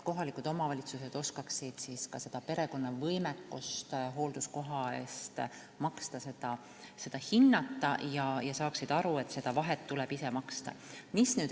Kohalikud omavalitsused peaksid oskama hinnata perekonna võimekust hoolduskoha eest maksta ja saama aru, et vahe tuleb ise kinni maksta.